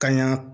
Ka ɲa